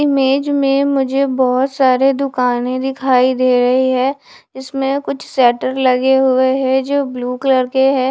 Image में मुझे बहोत सारे दुकाने दिखाई दे रही है इसमें कुछ शटर लगे हुए हैं जो ब्लू कलर के हैं।